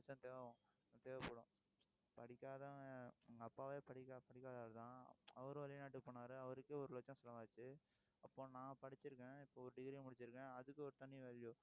லட்சம் தேவை~ தேவைப்படும் படிக்காதவன் எங்க அப்பாவே படிக்~ படிக்காத ஆள்தான். அவரு வெளிநாட்டுக்கு போனாரு அவருக்கே, ஒரு லட்சம் செலவாச்சு அப்போ, நான் படிச்சிருக்கேன் இப்போ ஒரு degree முடிச்சிருக்கேன். அதுக்கு, ஒரு தனி value